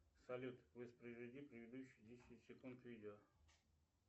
салют воспроизведи предыдущие десять секунд видео